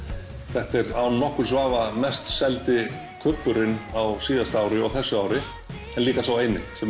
þetta er án nokkurs vafa mest seldi kubburinn á síðasta ári og þessu ári en líka sá eini sem